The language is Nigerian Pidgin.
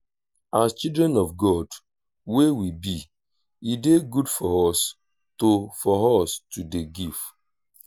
as children of god wey we be e dey good for us to for us to dey give